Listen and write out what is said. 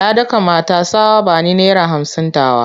Ya daka mata tsawa "Bani naira hamsin tawa!"